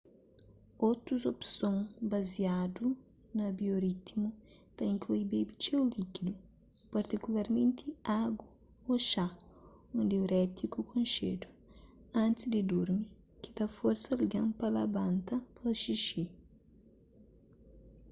otus opson baziadu na bioritmu ta inklui bebe txeu líkidu partikularmenti agu ô xá un diurétiku konxedu antis di durmi ki ta forsa algen pa labanta pa xixi